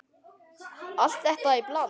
Allt þetta í bland?